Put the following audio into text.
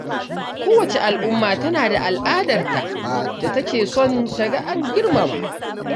Kowace al’umma tana da al’adarta da take son ta ga an girmama